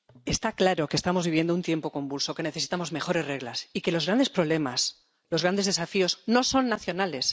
Está claro que estamos viviendo un tiempo convulso, que necesitamos mejores reglas y que los grandes problemas, los grandes desafíos, no son nacionales.